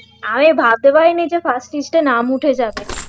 আমি ভাবতে পারিনি যে pass list এ নাম উঠে যাবে